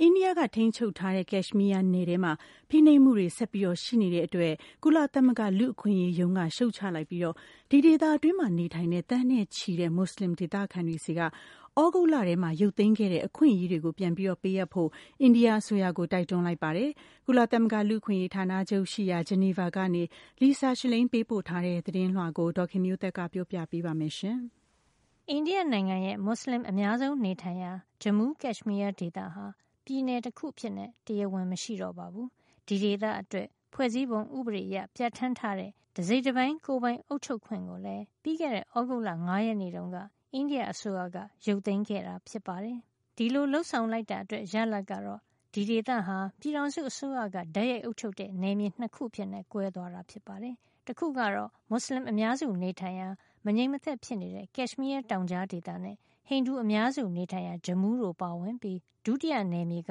အိန္ဒိယ ထိန်းချုပ်ထားတဲ့ Kashmir နယ်ထဲမှာ ဖိနှိပ်မှုတွေ ဆက်ပြီးရှိနေတဲ့အတွက် ကုလသမဂ္ဂ လူ့အခွင့်ရေးရုံးက ရှုတ်ချလိုက်ပြီး ဒီဒေသတွင်းနေထိုင်တဲ့ သန်းနဲ့ချီတဲ့ မွတ်ဆလင်ဒေသခံတွေ ဆီက သြဂုတ်လထဲမှာ ရုပ်သိမ်းခဲ့တဲ့ အခွင့်ရေးတွေကို ပြန်လည်ပေးအပ်ဖို့ အိန္ဒိယအစိုးရကို တိုက်တွန်းလိုက်ပါတယ်။ ကုလသမဂ္ဂ လူ့အခွင့်ရေး ဌာနချုပ်ရှိရာ ဂျနီဗာကနေ Lisa Schlein ပေးပို့ထားတဲ့ သတင်းကို ဒေါ်ခင်မျိုးသက်က ပြောပြပေးမှာပါ။ အိန္ဒိယနိုင်ငံရဲ့ မွတ်စလင်အများဆုံး နေထိုင်ရာ Jammu – Kashmir ဒေသဟာ ပြည်နယ်တခု အဖြစ် တရားဝင် မရှိတော့ပါဘူး။ ဒီဒေသအတွက် ဖွဲ့စည်းပုံဥပဒေအရ ပြဌာန်းထားတဲ့ တစိတ်တပိုင်း ကိုယ်ပိုင် အုပ်ချုပ်ခွင့်ကိုလည်း ပြီးခဲ့တဲ့ သြဂုတ်လ ၅ ရက်နေ့တုန်းက အိန္ဒိယအစိုးရက ရုပ်သိမ်းခဲ့တာ ဖြစ်ပါတယ်။ ဒီလို လုပ်ဆောင်လိုက်တာအတွက် ရလဒ်ကတော့ ဒီဒေသဟာ ပြည်ထောင်စုအစိုးရက တိုက်ရိုက် အုပ်ချုပ်တဲ့ နယ်မြေ ၂ ခု အဖြစ် ကွဲသွားတာပါ။ တခုကတော့ မွတ်စလင် အများစုနေထိုင်ရာ မငြိမ်မသက်ဖြစ်နေတဲ့ Kashmir တောင်ကြားဒေသနဲ့ ဟိန္ဒူအများစုနေထိုင်ရာ Jammu တို့ပါဝင်ပြီး ဒုတိယနယ်မြေက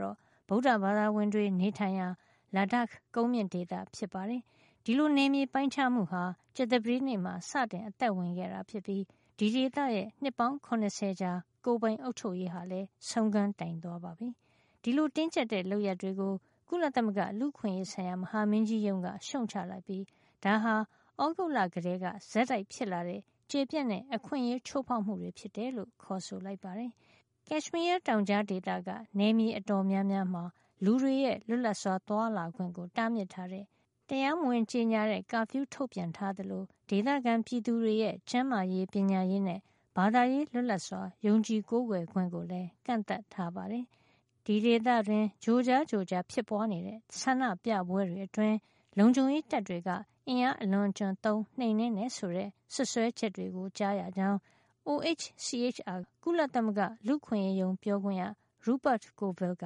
တော့ ဗုဒ္ဓဘာသာဝင်တွေ နေထိုင်ရာ Ladakh ကုန်းမြင့်ဒေသ ဖြစ်ပါတယ်။ ဒီလိုနယ်မြေ ပိုင်းခြားမှုဟာ ကြာသပတေးနေ့မှာ စတင်အသက်ဝင်ခဲ့ပြီး ဒီဒေသရဲ့ နှစ်ပေါင်း ၇၀ ကြာ ကိုယ်ပိုင်အုပ်ချုပ်ရေးဟာလည်း ဆုံးခန်းတိုင်သွားပါပြီ။ ဒီလို တင်းကြပ်တဲ့ လုပ်ရပ်တွေကို ကုလသမဂ္ဂလူ့အခွင့်အရေး ဆိုင်ရာ မဟာမင်းကြီး ရုံးက ရှုတ်ချလိုက်ပြီး ဒါဟာ သြဂုတ်လကတည်းက ဆက်တိုက်ဖြစ်လာခဲ့တဲ့ ကျယ်ပြန့်တဲ့ အခွင့်အရေးချိုးဖောက်မှုတွေ ဖြစ်တယ်လို့ ခေါ်ဆိုလိုက်ပါတယ်။ Kashmir တောင်ကြားက နယ်မြေတော်တော်များများမှာ လူတွေရဲ့ လွတ်လပ်စွာ သွားလာခွင့်ကို တားမြစ်တဲ့ တရားဝင် ကြေညာ မထားတဲ့ curfew ထုတ်ပြန်ထား သလို ဒေသခံပြည်သူတွေရဲ့ ကျန်းမာရေး၊ ပညာရေးနဲ့ ဘာသာရေးလွတ်လပ်စွာ ယုံကြည်ကိုးကွယ်ခွင့်ကိုလည်း ကန့်သတ်ထားပါတယ်။ ဒီဒေသတွင်း ကြိုကြားကြိုကြား ဖြစ်ပွားနေတဲ့ ဆန္ဒပြပွဲတွေအတွင်း လုံခြုံရေးတပ်တွေက အင်အားအလွန်အကျွံသုံး နှိမ်နင်းတယ်ဆိုတဲ့ စွပ်စွဲချက်တွေကို ကြားရကြောင်း OHCHR က ကုလသမဂ္ဂ လူ့အခွင့်ရေးရုံးပြောခွင့်ရ Rupert Colville က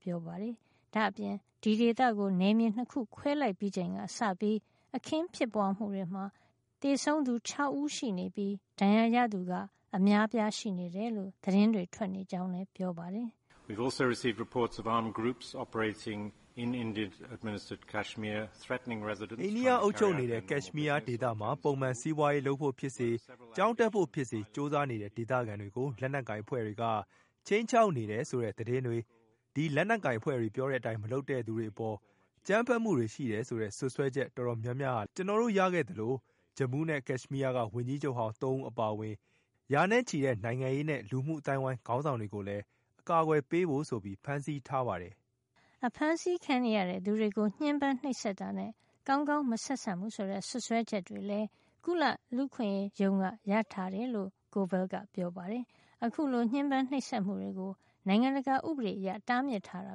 ပြောပါတယ်။ ဒါ့အပြင် ဒီဒေသကို နယ်မြေ ၂ ခုခွဲလိုက်ပြီးချိန်ကစပြီး အခင်းဖြစ်ပွားမှုတွေမှာ သေဆုံးသူ ၆ ဦးရှိနေပြီး ဒဏ်ရာရသူက အများအပြား ရှိနေတယ်လို့ သတင်းတွေ ထွက်နေကြောင်းလည်း ပြောပါတယ်။ “အိန္ဒိယ အုပ်ချုပ်နေတဲ့ Kashmir ဒေသမှာ ပုံမှန်စီးပွါးရေးလုပ်ဖို့ဖြစ်စေ ကျောင်းတက်ဖို့ဖြစ်စေ ကြိုးစားနေတဲ့ ဒေသခံတွေကို လက်နက်ကိုင် အဖွဲ့တွေက ခြိမ်းခြောက်တယ်ဆိုတဲ့ သတင်းတွေ၊ ဒီလက်နက်ကိုင်အဖွဲ့တွေ ပြောတဲ့အတိုင်းမလုပ်တဲ့ သူတွေအပေါ် အကြမ်းဖက်မှုတွေ ရှိတယ်ဆိုတဲ့ စွပ်စွဲချက် အတော်များများလည်း ကျနော်တို့ရခဲ့သလို Jammu နဲ့ Kashmir က ဝန်ကြီးချုပ်ဟောင်း ၃ ဦး အပါအဝင် ရာနဲ့ချီတဲ့ နိုင်ငံရေးနဲ့ လူမှုအသိုင်းဝိုင်း ခေါင်းဆောင်တွေကိုလည်း အကာကွယ်ပေးဖို့ဆိုပြီး ဖမ်းဆီးထားပါတယ်။” အဖမ်းဆီးခံနေရတဲ့ သူတွေကို ညှဉ်းပမ်းနှိပ်စက်တာနဲ့ ကောင်းကောင်းမဆက်ဆံဘူး ဆိုတဲ့ စွပ်စွဲချက်တွေလည်း ကုလလူ့အခွင့်ရေးရုံးက ရထားတယ်လို့ Colville က ပြောပါတယ်။ အခုလို ညှဉ်းပမ်းနှိပ်စက်မှုကို နိုင်ငံတကာဥပဒေအရ တားမြစ်ထားတာ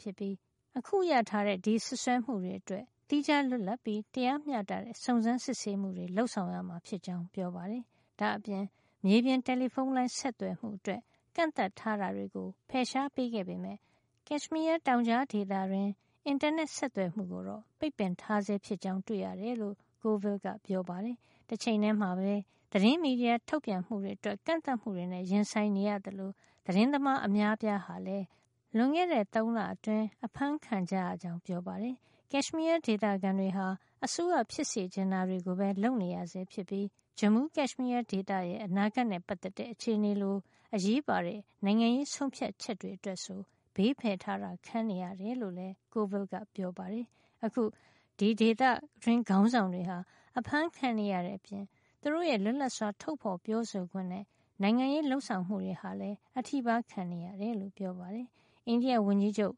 ဖြစ်ပြီး အခုရထားတဲ့ ဒီစွပ်စွဲမှုတွေ အတွက် သီးခြားလွတ်လပ်ပြီး တရားမျှတတဲ့ စုံစမ်းစစ်ဆေးမှုတွေ လုပ်ဆောင်ရမှာ ဖြစ်ကြောင်း ပြောပါတယ်။ ဒါ့အပြင် မြေပြင် တယ်လီဖုံးလိုင်း ဆက်သွယ်မှုအတွက် ကန့်သတ်ထားတာတွေကို ဖယ်ရှား ပေးခဲ့ပေမယ့် Kashmir တောင်ကြားဒေသ တွင်း အင်တာနက်ဆက်သွယ်မှု ကိုတော့ ပိတ်ပင်ထားဆဲ ဖြစ်ကြောင်း တွေ့ရတယ်လို့ Colville ကပြောပါတယ်။ တချိန်ထဲမှာပဲ သတင်းမီဒီယာ ထုတ်ပြန်မှုတွေ အတွက် ကန့်သတ်မှုတွေနဲ့ ရင်ဆိုင်နေရသလို သတင်းသမား အများအပြားဟာလည်း လွန်ခဲ့တဲ့ ၃ လအတွင်း အဖမ်းဆီး ခံကြရကြောင်း ပြောပါတယ်။ Kashmir ဒေသခံတွေဟာ အစိုးရ ဖြစ်စေချင်တာတွေကိုပဲ လုပ်နေရဆဲဖြစ်ပြီး Jammu – Kashmir ဒေသရဲ့ အနာဂတ်နဲ့ ပတ်သက်တဲ့ အခြေအနေလို အရေးပါတဲ့ နိုင်ငံရေး ဆုံးဖြတ်ချက်တွေ အတွက်ဆို ဘေးဖယ်ထားတာ ခံနေရတယ် လို့လည်း Coville ကပြောပါတယ်။ အခု ဒေသတွင်း ခေါင်းဆောင်တွေဟာ အဖမ်းခံနေရတဲ့အပြင် သူတို့ရဲ့ လွတ်လပ်စွာ ထုတ်ဖေါ်ပြောဆိုခွင့်နဲ့ နိုင်ငံရေးလုပ်ဆောင်မှုတွေ ဟာလည်း အထိပါးခံနေရတယ်လို့ ပြောပါတယ်။ အိန္ဒိယဝန်ကြီးချုပ်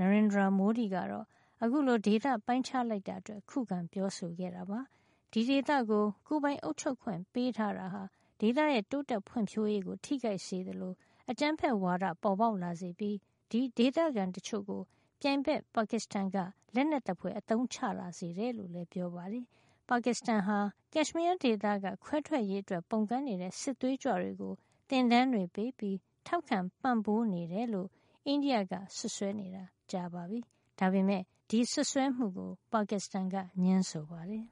Narendra Modi ကတော့ အခုလို ဒေသ ပိုင်းခြားလိုက်တာအတွက် ခုခံပြောဆိုခဲ့တာပါ။ ဒီဒေသကို ကိုယ်ပိုင်အုပ်ချုပ်ခွင့် ပေးထားတာဟာ ဒေသရဲ့ တိုးတက်ဖွံ့ဖြိုးရေးကို ထိခိုက်စေသလို အကြမ်းဖက်ဝါဒ ပေါ်ပေါက်လာစေပြီး ဒီဒေသခံ တချို့ကို ပြိုင်ဘက် ပါကစ္စတန်က လက်နက်သဖွယ်အသုံးချ လာစေတယ်လို့ ပြောပါတယ်။ ပါကစ္စတန်ဟာ Kashmir ဒေသက ခွဲထွက်ရေးအတွက် ပုန်ကန်တဲ့ စစ်သွေးကြွတွေကို သင်တန်းတွေ ပေးပြီး ထောက်ခံပံ့ပိုးနေတယ်လို့ အိန္ဒိယက စွပ်စွဲနေတာ ကြပါပြီ။ ဒါပေမယ့် ဒီစွပ်စွဲမှုကို ပါကစ္စတန်က ငြင်းဆိုပါတယ်။